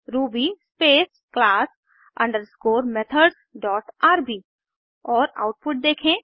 Ruby space class underscore methods dot R B और output देखें